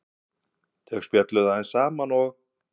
Þau spjölluðu aðeins saman og